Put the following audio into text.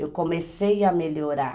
Eu comecei a melhorar.